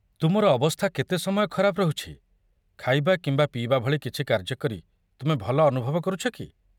ତୁମର ଅବସ୍ଥା କେତେ ସମୟ ଖରାପ ରହୁଛି? ଖାଇବା କିମ୍ବା ପିଇବା ଭଳି କିଛି କାର୍ଯ୍ୟ କରି ତୁମେ ଭଲ ଅନୁଭବ କରୁଛ କି?